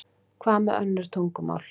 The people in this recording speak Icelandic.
Hvað með önnur tungumál?